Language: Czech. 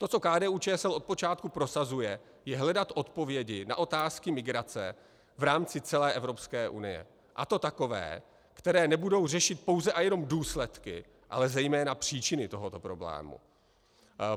To, co KDU-ČSL od počátku prosazuje, je hledat odpovědi na otázky migrace v rámci celé Evropské unie, a to takové, které nebudou řešit pouze a jenom důsledky, ale zejména příčiny tohoto problému.